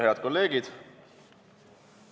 Head kolleegid!